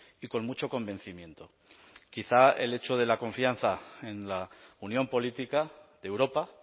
y con mucho convencimiento quizá el hecho de la confianza en la unión política de europa